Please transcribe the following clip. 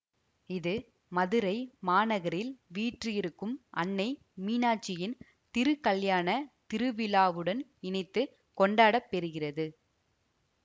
இது மதுரை மாநகரில் வீற்றிருக்கும் அன்னை மீனாட்சியின் திருக்கல்யாணத் திருவிழாவுடன் இணைத்து கொண்டாட பெறுகிறது